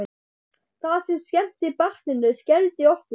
Það sem skemmti barninu skelfdi okkur.